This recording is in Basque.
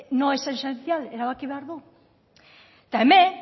no es esencial erabaki behar du eta hemen